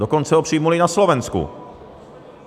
Dokonce ho přijali i na Slovensku.